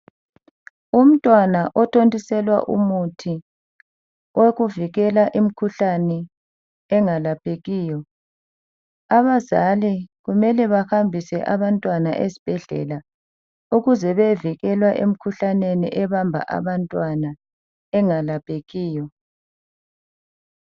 Umntwana othontiselwa umuthi owokuvikela imikhuhlane engalaphekiyo. Abazali kumele bahambise abantwana esibhedlela, ukuze beyevikelwa emikhuhlaneni ebamba abantwana, engalaphekiyo.